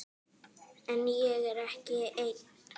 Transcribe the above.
En ég er ekki einn.